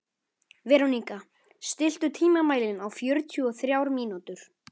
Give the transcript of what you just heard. Veróníka, stilltu tímamælinn á fjörutíu og þrjár mínútur.